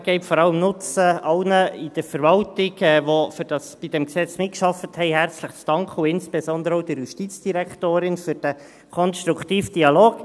Ich möchte die Gelegenheit vor allem nutzen, um allen seitens der Verwaltung, die bei diesem Gesetz mitgearbeitet haben, herzlich zu danken, und insbesondere auch der Justizdirektorin für diesen konstruktiven Dialog.